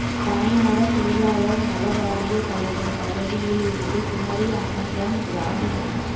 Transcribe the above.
பனைமர தொழிலாளர் நல வாரிய தலைவர் பதவியில் இருந்து குமரி அனந்தன் ராஜினாமா